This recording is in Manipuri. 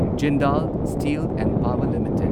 Jindal steel and power limited